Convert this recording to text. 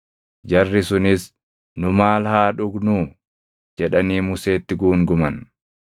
Jarri sunis, “Nu maal haa dhugnuu?” jedhanii Museetti guunguman.